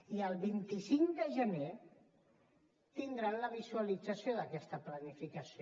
i el vint cinc de gener tindran la visualització d’aquesta planificació